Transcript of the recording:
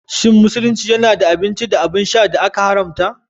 Shin Musulunci yana da abinci da abin sha da aka haramta?